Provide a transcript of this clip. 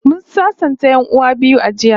Mun sasanta 'yan'uwan biyu a jiya